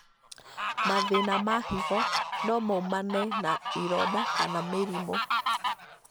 Mathĩna ma higo no maumane na ironda kana mĩrimũ.